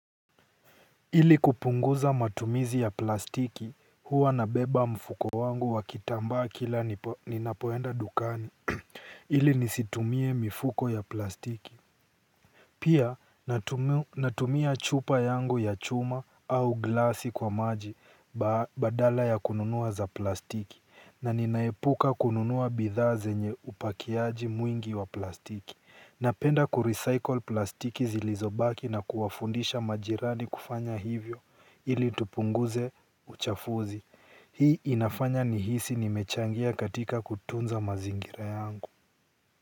Ili kupunguza matumizi ya plastiki huwa nabeba mfuko wangu wa kitamba kila ninapoenda dukani ili nisitumie mifuko ya plastiki. Pia natumia chupa yangu ya chuma au glasi kwa maji badala ya kununua za plastiki na ninaepuka kununua bidhaa zenye upakiaji mwingi wa plastiki. Napenda kurecycle plastiki zilizobaki na kuwafundisha majirani kufanya hivyo ili tupunguze uchafuzi. Hii inafanya nihisi nimechangia katika kutunza mazingira yangu.